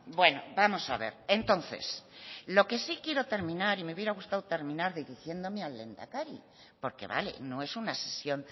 bueno vamos a ver entonces lo que sí quiero terminar y me hubiera gustado terminar dirigiéndome al lehendakari porque vale no es una sesión